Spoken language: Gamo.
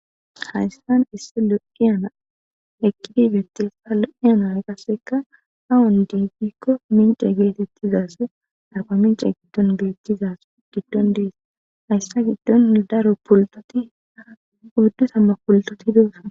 hayssan issi lo7iyana eqqidi bettessa lo7iyana qasseka hawan diifikko mince geetettizaase arpamince giddon geletizase giddon dees hayssa giddon daro pultoti oddu samma pultoti hdussa